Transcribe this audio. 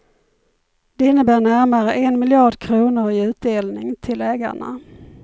Det innebär närmare en miljard kronor i utdelning till ägarna.